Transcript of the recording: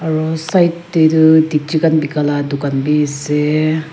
aru side te tu dikchi khan beka laga dukan bhi khan bhi ase.